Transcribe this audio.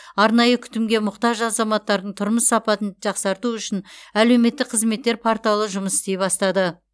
арнайы күтімге мұқтаж азаматтардың тұрмыс сапасын жақсарту үшін әлеуметтік қызметтер порталы жұмыс істей бастады